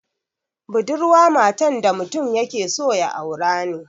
Budurwa matan da mutum yake so ya aura ne